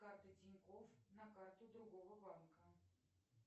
карта тинькофф на карту другого банка